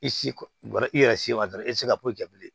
I si kɔ i yɛrɛ si ma dɔrɔn i tɛ se ka probilɛ bilen